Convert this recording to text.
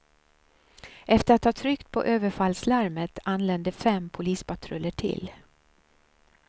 Efter att ha tryckt på överfallslarmet anlände fem polispatruller till.